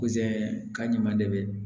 ka ɲuman de